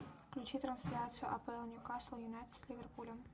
включи трансляцию апл ньюкасл юнайтед с ливерпулем